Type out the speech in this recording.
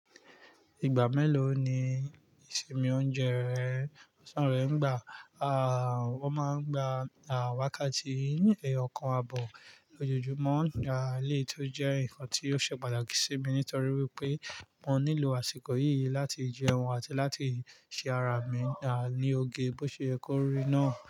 Ìgbà mélòó ni ìsinmi oúnjẹ rẹ, ọ̀sán rè ń gbà? Wọ́n máa ń gba àwákàtì, ọkàn abọ̀ lójoojúmọ́, eléyì tí ó jẹ́ nǹkan tí ó ṣe pàtàkì sí mi nítorí wípé mo nílò àsìkò yìí láti jẹun àti láti ṣe ara mi dá ní oge bó ṣe yẹ kó rí náà.